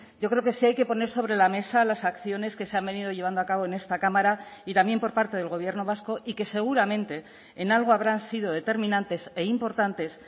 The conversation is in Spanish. yo creo que sí hay que poner sobre la mesa las acciones que se han venido llevando a cabo en esta cámara y también por parte del gobierno vasco y que seguramente en algo habrán sido determinantes e importantes